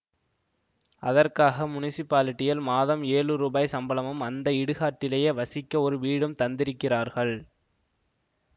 அதற்காக முனிசிபாலிடியில் மாதம் ஏழு ரூபாய் சம்பளமும் அந்த இடுகாட்டிலேயே வசிக்க ஒரு வீடும் தந்திருக்கிறார்கள்